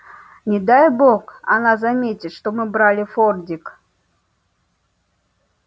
не дай бог она заметит что мы брали фордик